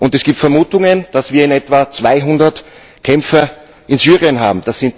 Es gibt Vermutungen, dass wir etwa 200 Kämpfer in Syrien haben.